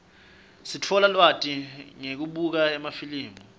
sitfola lwati ngekubuka emafilimi